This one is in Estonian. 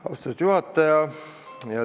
Austatud juhataja!